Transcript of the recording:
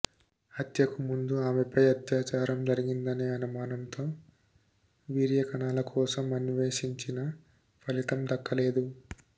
హత్యకు ముందు ఆమెపై అత్యాచారం జరిగిందనే అనుమానంతో వీర్య కణాల కోసం అన్వేషించిన ఫలితం దక్కలేదు